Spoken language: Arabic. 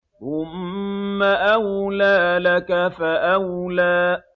ثُمَّ أَوْلَىٰ لَكَ فَأَوْلَىٰ